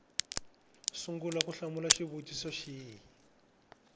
sungula ku hlamula xivutiso xin